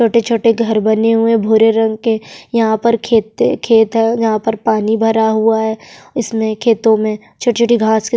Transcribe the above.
छोटे-छोटे घर बने हुए भूरे रंग के यहाँ पर खेते खेत है जहाँ पर पानी भरा हुआ है इसमें खेतों में छोटी-छोटी घास के --